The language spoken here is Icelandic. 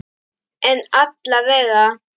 En alla vega.